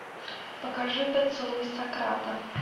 покажи поцелуй сократа